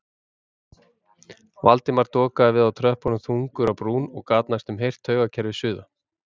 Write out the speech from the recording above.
Valdimar dokaði við á tröppunum þungur á brún og gat næstum heyrt taugakerfið suða.